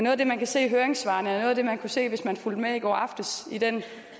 af det man kan se i høringssvarene og det man kunne se hvis man fulgte med i går aftes i den